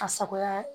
A sagoya ye